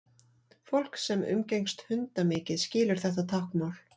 fólk sem umgengst hunda mikið skilur þetta táknmál